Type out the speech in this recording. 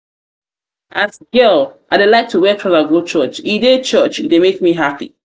as girl i dey like to wear trouser go church e dey church e dey make me happy.